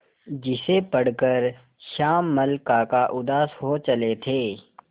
जिसे पढ़कर श्यामल काका उदास हो चले थे